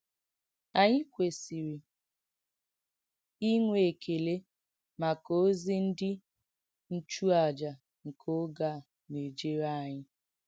Ànyị kwèsìrì ìnwè èkèlè màkà òzì ndí ǹchùàjà nkè ògè à nà-èjèrè ányị.